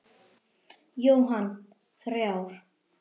Jóhann: Þrjár?